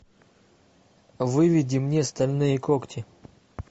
выведи мне стальные когти